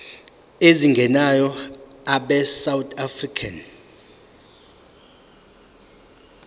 ezingenayo abesouth african